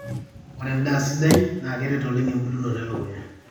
ore endaa sidai naa keret oleng embulunoto elukunya